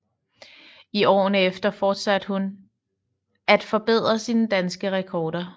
I åren efter fortsatte hun at forbedre sine danske rekorder